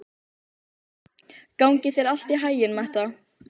Gangi þér allt í haginn, Metta.